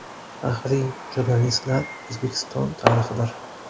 Faxriy jurnalistlar O‘zbekiston tarixidir.